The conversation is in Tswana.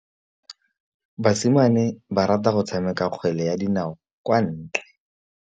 Basimane ba rata go tshameka kgwele ya dinaô kwa ntle.